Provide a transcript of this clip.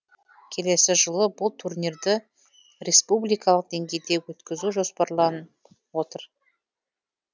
келесі жылы бұл турнирді республикалық деңгейде өткізу жоспарланып отыр